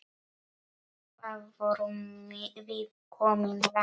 Hvað vorum við komin langt?